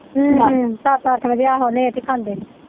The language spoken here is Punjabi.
ਹਮ ਹਮ ਸੱਤ ਅੱਠ ਵਜੇ ਆਹੋ ਲੈਟ ਈ ਖਾਂਦੇ।